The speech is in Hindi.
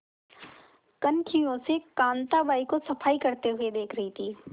कनखियों से कांताबाई को सफाई करते हुए देख रही थी